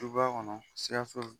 Du b'a kɔnɔ